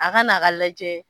A ka na ka lajɛ.